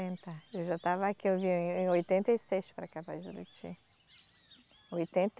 Eu já estava aqui, eu vim em oitenta e seis para cá para Juruti. Oitenta